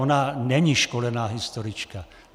Ona není školená historička.